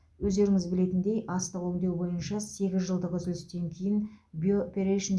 өздеріңіз білетіндей астық өңдеу бойынша сегіз жылдық үзілістен кейін биоперейшн